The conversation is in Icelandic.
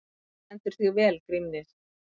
Þú stendur þig vel, Grímnir!